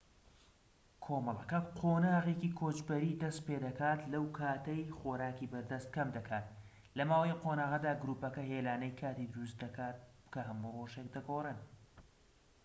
کۆمەڵەکە قۆناغێکی کۆچەری دەست پێدەکات لەو کاتەی خۆراکی بەردەست کەم دەکات لە ماوەی ئەم قۆناغەدا گروپەکە هێلانەی کاتی دروست دەکات کە هەموو رۆژێک دەگۆڕێن